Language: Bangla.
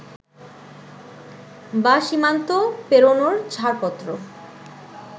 বা সীমান্ত পেরোনোর ছাড়পত্র